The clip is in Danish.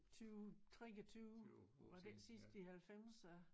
20 23 var det ikke sidst i halvfemser?